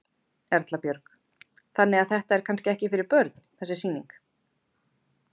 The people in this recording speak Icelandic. Erla Björg: Þannig þetta er kannski ekki fyrir börn þessi sýning?